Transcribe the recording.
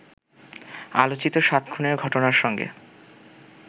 আলোচিত সাত খুনের ঘটনার সঙ্গে